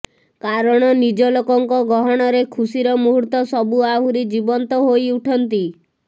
କାରଣ ନିଜଲୋକଙ୍କ ଗହଣରେ ଖୁସିର ମୁହୂର୍ତ୍ତସବୁ ଆହୁରି ଜୀବନ୍ତ ହୋଇଉଠନ୍ତି